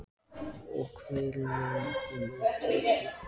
Og hver veit nema honum takist það, sagði Hanna-Mamma stolt.